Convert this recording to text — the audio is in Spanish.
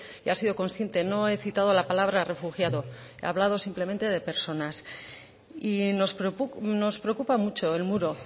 he sido consciente no he citado la palabra refugiado he hablado simplemente de personas y nos preocupa mucho el muro